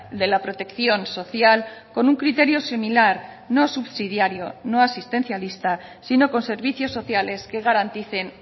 de la protección social con un criterio similar no subsidiario no asistencialista sino con servicios sociales que garanticen